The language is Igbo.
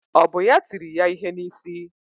Ọ bụ ya tiri ya ihe n'isi?